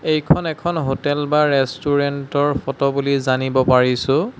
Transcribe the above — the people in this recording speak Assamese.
এইখন এখন হোটেল বা ৰেষ্টুৰেণ্ট ৰ ফটো বুলি জানিব পাৰিছে।